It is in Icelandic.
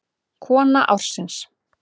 Kona ársins?